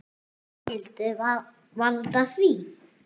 Hvað skyldi valda því?